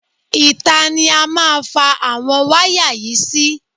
Ìta ni a má fa àwọn wáyà yìí sí.